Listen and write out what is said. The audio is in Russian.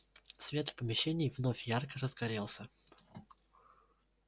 свет в помещении вновь ярко разгорелся